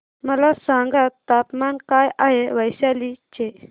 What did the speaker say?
मला सांगा तापमान काय आहे वैशाली चे